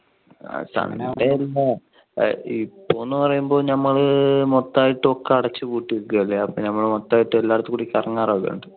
അല്ല ഇപ്പൊന്ന് പറയുമ്പോൾ നമ്മള് മൊത്തായിട്ട് ഒക്കെ അടിച്ചുപൂട്ട്യേകുവല്ലേ അപ്പൊ നമ്മള് മൊത്തായിട്ട് എല്ലാടത്തുടി കറങ്ങാറോക്കെ ഉണ്ട്.